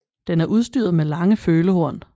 Den er udstyret med lange følehorn